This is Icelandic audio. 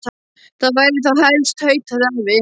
Það væri þá helst tautaði afi.